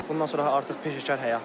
Bundan sonra artıq peşəkar həyatdır.